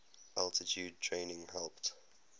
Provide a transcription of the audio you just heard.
altitude training helped